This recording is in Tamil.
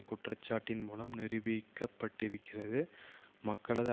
குற்றச்சாட்டின் மூலம் நீரூபிக்கப்பட்டிருக்கிறது மக்களது